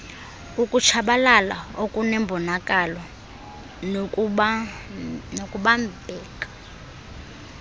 ukutshabalala okunembonakalo nokubambekayo